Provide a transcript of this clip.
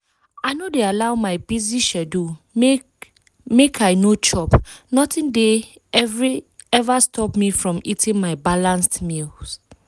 i no dey allow my busy schedule make make i no chop. nothing dey every stop me from eating my balanced meals.